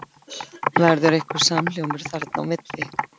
Verður einhver samhljómur þarna á milli?